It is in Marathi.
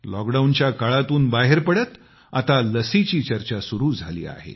लॉकडाऊनच्या काळातून बाहेर पडत आता लसीची चर्चा सुरु झाली आहे